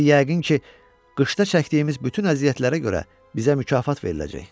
İndi yəqin ki, qışda çəkdiyimiz bütün əziyyətlərə görə bizə mükafat veriləcək.